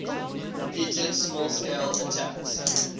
repeated small scale attacks